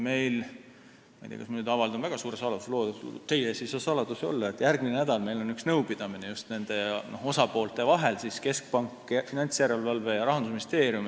Meil on – ma ei tea, kas ma nüüd avaldan väga suure saladuse, aga teie ees ei saa saladusi olla – järgmisel nädalal üks nõupidamine just nende osapoolte vahel: keskpank, Finantsinspektsioon ja Rahandusministeerium.